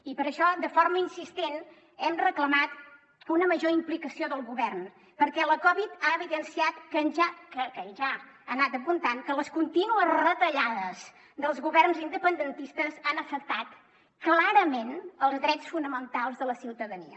i per això de forma insistent hem reclamat una major implicació del govern perquè la covid ha evidenciat que ja ho ha anat apuntant que les contínues retallades dels governs independentistes han afectat clarament els drets fonamentals de la ciutadania